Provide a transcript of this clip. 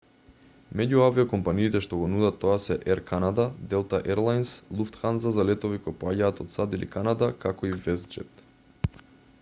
меѓу авиокомпаниите што го нудат тоа се ер канада делта ер лајнс луфтханза за летови кои поаѓаат од сад или канада како и вестџет